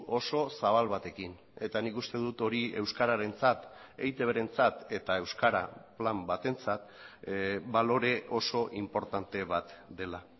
oso zabal batekin eta nik uste dut hori euskararentzat eitbrentzat eta euskara plan batentzat balore oso inportante bat dela